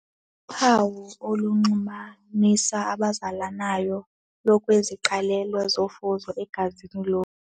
Uphawu olunxumanisa abazalanayo lukwiziqalelo zofuzo egazini lomntu.